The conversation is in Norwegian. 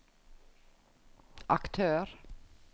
aktør